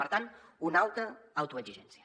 per tant una alta autoexigència